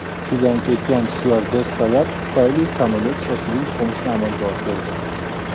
Hushidan ketgan styuardessalar tufayli, samolyot shoshilinch qo‘nishni amalga oshirdi.